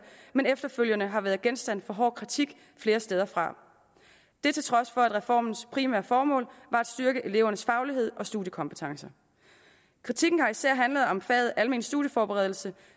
men efterfølgende har været genstand for hård kritik flere steder fra det er til trods for at reformens primære formål var at styrke elevernes faglighed og studiekompetencer kritikken har især handlet om faget almen studieforberedelse